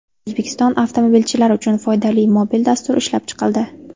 O‘zbekiston avtomobilchilari uchun foydali mobil dastur ishlab chiqildi.